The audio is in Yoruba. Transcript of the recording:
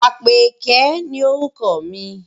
Àpèké ni orúkọ mi.